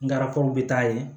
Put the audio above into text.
Ngarakaw bɛ taa yen